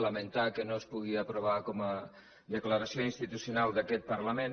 lamentar que no es pugui aprovar com a declaració institucional d’aquest parlament